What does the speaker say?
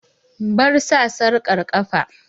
Bar sa sarƙar ƙafa!